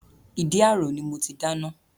Ìdí àrò ni mo ti dáná